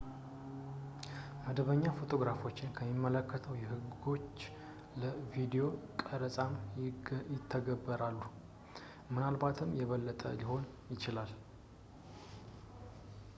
መደበኛ ፎቶግራፎችን የሚመለከቱ ህጎች ለቪዲዮ ቀረፃም ይተገበራሉ ፣ ምናልባትም የበለጠ ሊሆን ይችላል